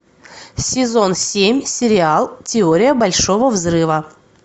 сезон семь сериал теория большого взрыва